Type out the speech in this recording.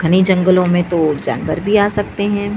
घने जंगलो में तो जानवर भी आ सकते है।